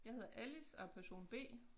Jeg hedder Alice er person B